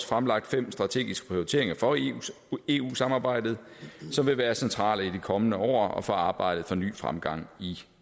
fremlagt fem strategiske prioriteringer for eu samarbejdet som vil være centrale i de kommende år og for arbejdet for ny fremgang